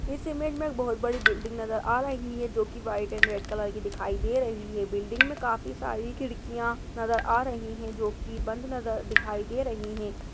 इस इमेज में एक बहुत बड़ी बिल्डिंग नजर आ रही है जोकि व्हाइट एंड ब्लैक कलर की दिखाई दे रही है बिल्डिंग मे काफी सारी खिड़कियां नजर आ रही है जोकि बंद नजर दिखाई दे रही है।